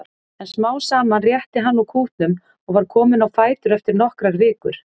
En smám saman rétti hann úr kútnum og var kominn á fætur eftir nokkrar vikur.